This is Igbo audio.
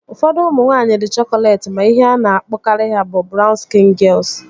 Ụfọdụ ụmụ nwaanyị dị chokolet ma ihe a na-akpọkarị ha bụ brawn skịn gịels